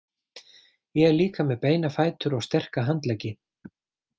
Ég er líka með beina fætur og sterka handleggi.